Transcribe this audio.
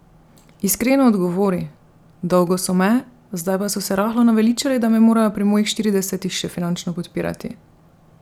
Iskreno odgovori: "Dolgo so me, zdaj pa so se rahlo naveličali, da me morajo pri mojih štiridesetih še finančno podpirati.